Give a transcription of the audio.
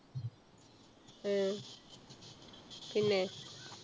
ആഹ് പിന്നെ?